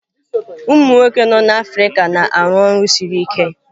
Umụ nwoke nọ n'Africa na-arụ ọrụ siri ike.